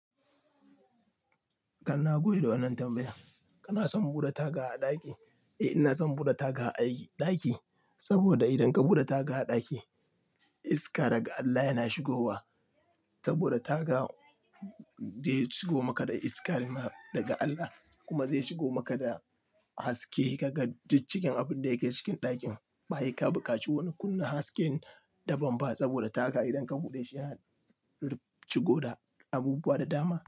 Kanna bagode da wannan tambaya. Kana son buɗe taga a ɗaki? Eh, ina son buɗe taga a aiki ɗaki, saboda idan ka buɗe taga a ɗaki, iska daga Allah yana shigowa. Saboda taga zai shigo maka da iska daga Allah kuma zai shigo maka da haske. Kaga cikaken abin da yake cikin ɗakin. Ba he ka buƙaci wani kunna hasken daban ba saboda taga idan ka buɗe shi yana rufshigo da abubuwa da dama.